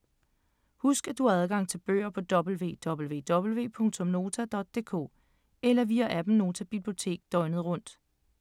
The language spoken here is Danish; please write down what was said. Husk at du har adgang til bøger på www.nota.dk eller via appen Nota Bibliotek døgnet rundt.